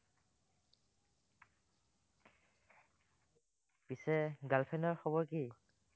পিচে girl friend ৰ খবৰ কি?